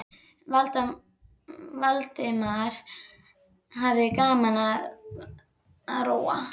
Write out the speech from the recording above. Valdimar hafði gaman af að róa.